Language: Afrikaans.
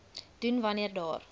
doen wanneer daar